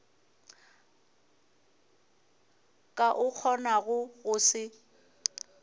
ka o kgonago go se